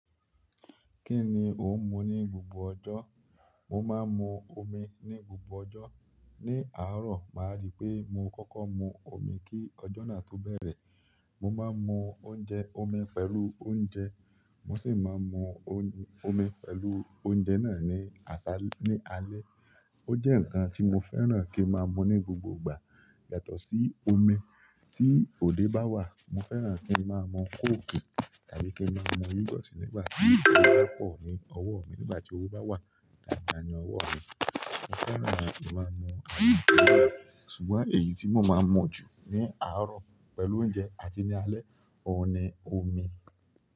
Kí ni ò ń mu ní gbogbo ọjọ́? Mo máa ń mu omi ní gbogbo ọjọ́. Ní àárọ̀, máa rí pé mo kọ́kọ́ mu omi kí ọjọ́ náà tó bẹ̀rẹ̀. Mo máa ń mu oúnjẹ, omi pẹ̀lú oúnjẹ. Mo sì máa ń mu omi pẹ̀lú oúnjẹ náà ní alẹ́. Ó jẹ́ nǹkan tí mo fẹ́ràn kí n máa mu ní gbogbo ìgbà. Yàtọ̀ sí omi, tí òde bá wá mo fẹ́ràn kí n máa mu coke, àbí kí n máa mu youghurt nígbà tí owó bá pọ̀ ní owó mi, nígbà tí owó bá wà dáadáa ní owó mi, mo fẹ́ràn àti máa mu ṣùgbọ́n èyí tí mo máa ń mu jù ní àárọ̀ pẹ̀lú oúnjẹ àti ní alẹ́, òun ni omi.